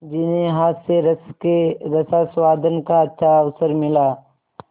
जिन्हें हास्यरस के रसास्वादन का अच्छा अवसर मिला